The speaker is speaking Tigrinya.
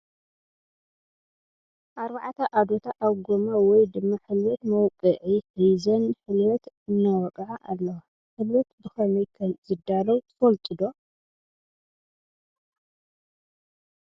ኣርባዕታ ኣዶታ ኣብ ጎማ ወይ ድማ ሕልበት መውቅዒ ሕዘን ሕልበት እናወቀዓ ኣለዋ ። ሕልበት ብከመይ ከም ዝዳልው ትፈልጡ ዶ ?